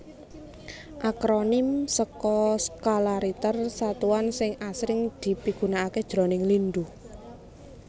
Akronim saka Skala Richter satuan sing asring dipigunakaké jroning lindhu